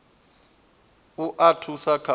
u a thusa kha u